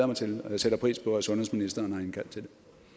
mig til og jeg sætter pris på at sundhedsministeren har indkaldt til